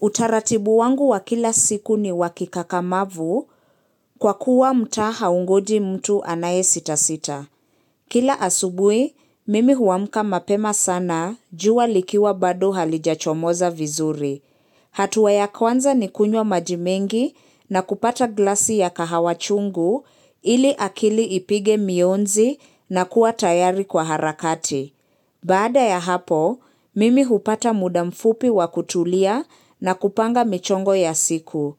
Utaratibu wangu wa kila siku ni wa kikakamavu kwa kuwa mtaa haungoji mtu anaye sita sita. Kila asubuhi, mimi huamka mapema sana jua likiwa bado halijachomoza vizuri. Hatua ya kwanza ni kunywa maji mengi na kupata glasi ya kahawa chungu ili akili ipige mionzi na kuwa tayari kwa harakati. Baada ya hapo, mimi hupata muda mfupi wa kutulia na kupanga michongo ya siku.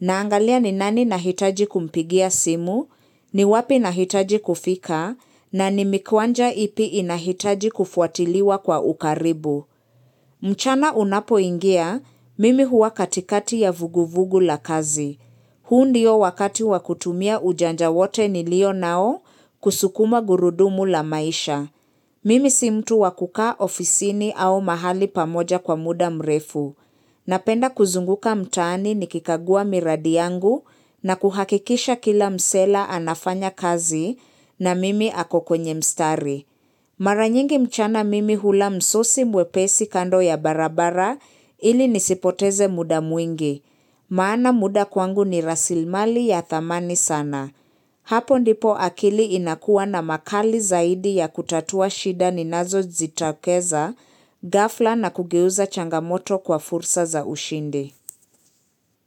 Naangalia ni nani nahitaji kumpigia simu, ni wapi nahitaji kufika, na ni mikwanja ipi inahitaji kufuatiliwa kwa ukaribu. Mchana unapoingia, mimi huwa katikati ya vuguvugu la kazi. Huu ndio wakati wa kutumia ujanja wote nilio nao kusukuma gurudumu la maisha. Mimi si mtu wa kuka ofisini au mahali pamoja kwa muda mrefu. Napenda kuzunguka mtaani niki kagua miradi yangu na kuhakikisha kila msee leo anafanya kazi na mimi ako kwenye mstari. Mara nyingi mchana mimi hula msosi mwepesi kando ya barabara ili nisipoteze muda mwingi. Maana muda kwangu ni rasilmali ya thamani sana. Hapo ndipo akili inakuwa na makali zaidi ya kutatua shida ninazo zitokeza, ghafla na kugeuza changamoto kwa fursa za ushindi.